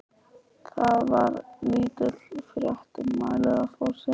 Þar var lítil frétt um málið á forsíðu.